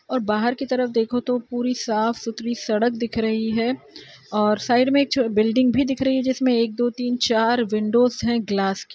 और बाहर की तरफ देखो तो पूरी साफ सुथरी सड़क दिख रही है और साइड में एक छ बिल्डिंग भी दिख रही है। जिसमें एक दो तीन चार विंडोज हैं ग्लास की।